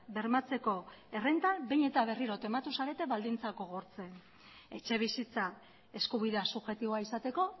bermatzeko errenta behin eta berriro tematu zarete baldintzak gogortzen etxebizitza eskubidea subjektiboa izateko